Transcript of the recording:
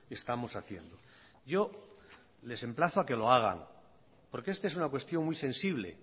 estamos haciendo yo les emplazo a que lo hagan porque esta es una cuestión muy sensible